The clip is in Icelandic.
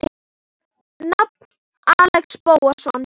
Nafn: Axel Bóasson